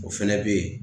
O fɛnɛ bɛ ye